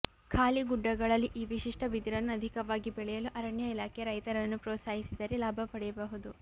ಖಾಲಿ ಗುಡ್ಡಗಳಲ್ಲಿ ಈ ವಿಶಿಷ್ಟ ಬಿದಿರನ್ನು ಅಧಿಕವಾಗಿ ಬೆಳೆಯಲು ಅರಣ್ಯ ಇಲಾಖೆ ರೈತರನ್ನು ಪ್ರೋತ್ಸಾಹಿಸಿದರೆ ಲಾಭ ಪಡೆಯಬಹುದು